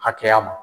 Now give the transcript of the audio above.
Hakɛya ma